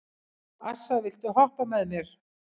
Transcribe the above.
Assa, viltu hoppa með mér?